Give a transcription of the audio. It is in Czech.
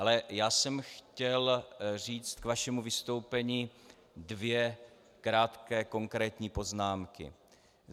Ale já jsem chtěl říct k vašemu vystoupení dvě krátké konkrétní poznámky.